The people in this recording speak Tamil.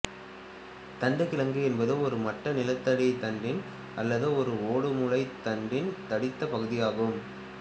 தண்டு கிழங்கு என்பது ஒரு மட்ட நிலத்தண்டின் அல்லது ஒரு ஓடுமுளைத்தண்டின் தடித்தப் பகுதியாகும்